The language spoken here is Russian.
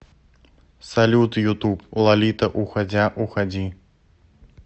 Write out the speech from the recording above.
салют ютуб лолита уходя уходи